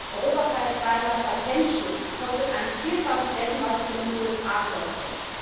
Europaweiter Patentschutz kostet ein Vielfaches dessen, was er in den USA kostet.